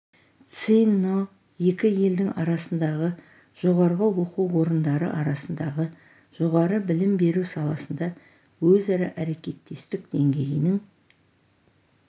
цзинь но екі елдің арасындағы жоғарғы оқу орындары арасындағы жоғары білім беру саласында өзара әрекеттестік деңгейінің